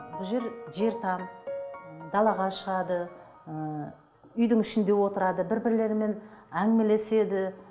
бұл жер жер там ы далаға шығады ыыы үйдің ішінде отырады бір бірлерімен әңгімелеседі